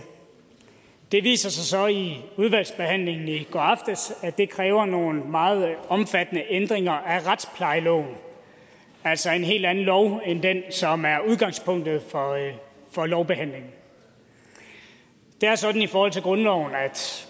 det viste sig så i udvalgsbehandlingen i går aftes at det kræver nogle meget omfattende ændringer af retsplejeloven altså en helt anden lov end den som er udgangspunktet for lovbehandlingen det er sådan i forhold til grundloven at